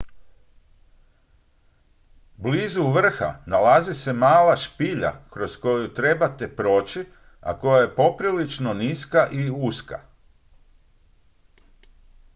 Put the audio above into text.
blizu vrha nalazi se mala špilja kroz koju trebate proći a koja je poprilično niska i uska